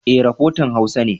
E, rafotan Hausa ne.